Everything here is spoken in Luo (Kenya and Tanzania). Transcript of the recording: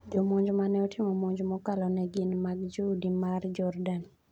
Jomonj maneotimo monj mokalo ne gin mag joudi ma Jordan.